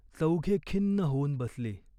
चौघे खिन्न होऊन बसली.